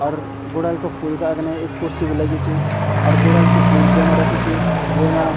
अर गुड़हल का फूल का अग्ने एक कुर्सी बी लगीं च अर गुड़हल कु फूल जैमा रख्यू च वेमा।